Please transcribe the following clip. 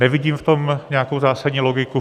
Nevidím v tom nějakou zásadní logiku.